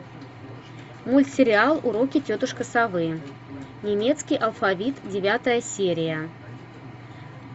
мультсериал уроки тетушки совы немецкий алфавит девятая серия